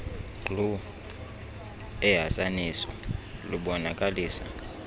glu ehasaniso lubonakalisa